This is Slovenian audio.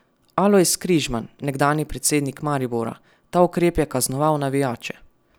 Alojz Križman, nekdanji predsednik Maribora: "Ta ukrep je kaznoval navijače.